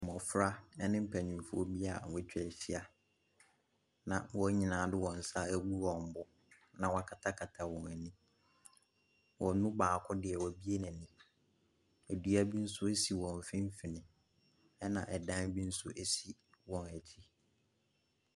Mmɔfra ne mpanimfoɔ bi wɔatwa ahyia na wɔn nyinaa de wɔn nsa agu wɔn bo, na wɔakatakata wɔn ani, wɔn mu baako deɛ wabue n’ani, dua bi nso si wɔ mfimfin, na dan bi nso si wɔn akyi.